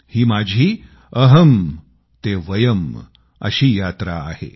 ही माझी अहम् ते वयम् अशी यात्रा आहे